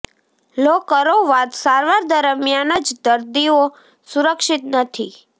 લો કરો વાત સારવાર દરમિયાન જ દર્દીઓ સુરક્ષિત નથી